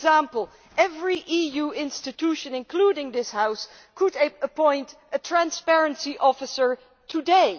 For example, every EU institution, including this House, could appoint a transparency officer today.